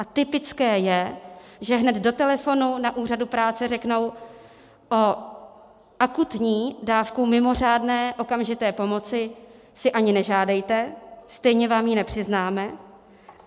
A typické je, že hned do telefonu na úřadu práce řeknou: O akutní dávku mimořádné, okamžité pomoci si ani nežádejte, stejně vám ji nepřiznáme.